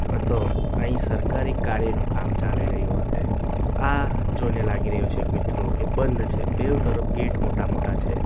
હતો અહીં સરકારી કાર્ય નું કામ ચાલી રહ્યું હોતે આ જોઈને લાગી રહ્યો છે મિત્રો કે બંધ છે બેવ તરફ ગેટ મોટા મોટા છે.